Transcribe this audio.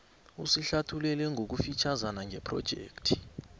usihlathululele ngokufitjhazana ngephrojekhthi